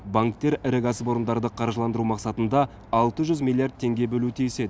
банктер ірі кәсіпорындарды қаржыландыру мақсатында алты жүз миллиард теңге бөлуі тиіс еді